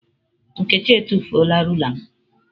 Nkechi etufuola rula m.